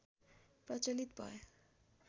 प्रचलित भयो